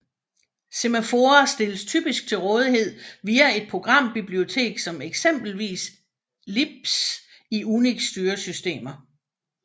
Semaforer stilles typisk til rådighed via et programbibliotek som eksempelvis libc i UNIX styresystemer